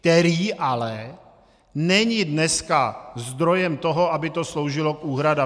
Který ale není dneska zdrojem toho, aby to sloužilo k úhradám!